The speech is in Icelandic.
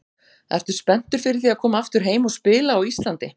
Ertu spenntur fyrir því að koma aftur heim og spila á Íslandi?